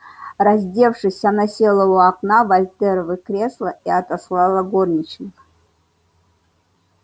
раздевшись она села у окна в вольтеровы кресла и отослала горничных